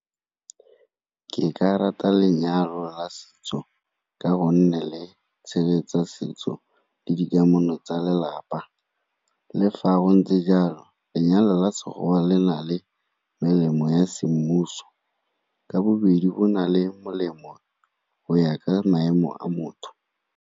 Ke ka rata lenyalo la setso ka go nne le tshegetsa setso le dikamano tsa lelapa. Le fa go ntse jalo lenyalo la Sekgowa le na le melemo ya semmuso, ka bobedi bo na le molemo go ya ka maemo a motho.